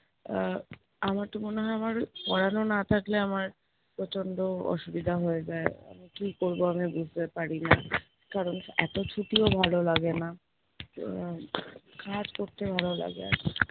আহ আমার তো মনে হয় আমার পড়ানো না থাকলে আমার প্রচন্ড অসুবিধা হয়ে যায়, আমি কি করবো আমি বুঝতেও পারি না। কারণ এতো ছুটিও ভালো লাগে না, আহ কাজ করতে ভালো লাগে আরকি